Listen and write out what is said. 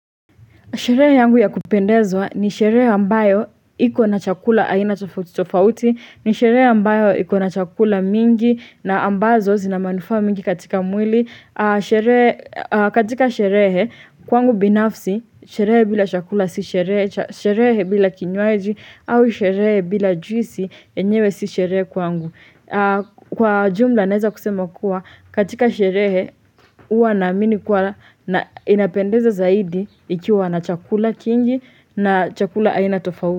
Sherehe yangu ya kupendezwa ni sherehe ambayo iko na chakula aina tofautitofauti, ni sherehe ambayo iko na chakula mingi na ambazo zina manufaa mingi katika mwili. Katika sherehe kwangu binafsi, sherehe bila chakula si sherehe, sherehe bila kinywaji, au sherehe bila juisi yenyewe si sherehe kwangu. Kwa jumla naweza kusema kuwa katika sherehe huwa naamini kuwa inapendeza zaidi ikiwa na chakula kingi na chakula aina tofauti.